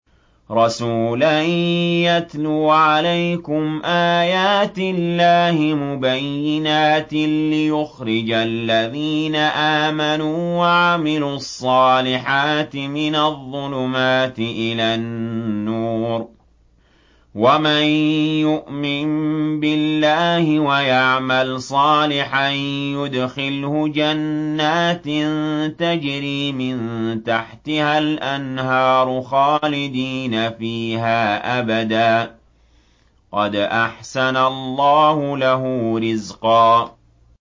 رَّسُولًا يَتْلُو عَلَيْكُمْ آيَاتِ اللَّهِ مُبَيِّنَاتٍ لِّيُخْرِجَ الَّذِينَ آمَنُوا وَعَمِلُوا الصَّالِحَاتِ مِنَ الظُّلُمَاتِ إِلَى النُّورِ ۚ وَمَن يُؤْمِن بِاللَّهِ وَيَعْمَلْ صَالِحًا يُدْخِلْهُ جَنَّاتٍ تَجْرِي مِن تَحْتِهَا الْأَنْهَارُ خَالِدِينَ فِيهَا أَبَدًا ۖ قَدْ أَحْسَنَ اللَّهُ لَهُ رِزْقًا